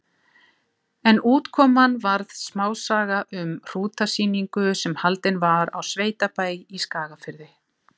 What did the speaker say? En útkoman varð smásaga um hrútasýningu sem haldin var á sveitabæ í Skagafirði.